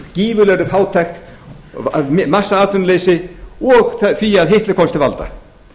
gífurlegri fátækt massaatvinnuleysi og því að hitler komst til valda